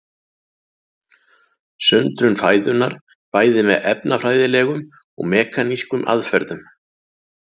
Sundrun fæðunnar bæði með efnafræðilegum og mekanískum aðferðum.